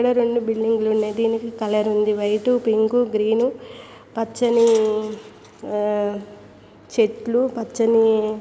ఇడ రెండు మూడు బిల్డింగ్ లు ఉన్నాయి దీనికి కలర్ లు ఉంది వైట్ టు పింక్ కు గ్రీన్ ను పచ్చని ఆ చెట్టులు పచ్చని.